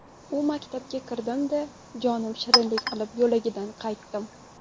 U maktabga kirdimda, jonim shirinlik qilib, yo‘lagidan qaytdim.